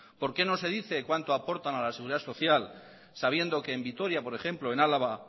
por qué no se dice cuánto aportan a la seguridad social sabiendo que en vitoria por ejemplo en álava